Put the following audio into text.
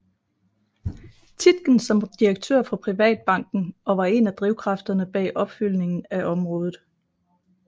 Tietgen som direktør for Privatbanken og var en af drivkræfterne bag opfyldningen af området